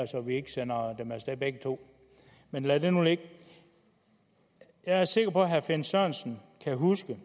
så vi ikke sender dem af sted begge to men lad det nu ligge jeg er sikker på at herre finn sørensen kan huske